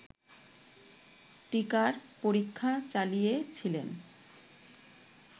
টীকার পরীক্ষা চালিয়েছিলেন